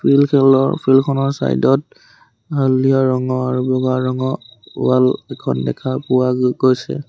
Field খনৰ side ত হালধীয়া ৰঙৰ বগা ৰঙ ৱাল এখন দেখা পোৱা গৈছে।